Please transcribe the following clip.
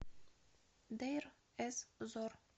дейр эз зор